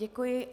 Děkuji.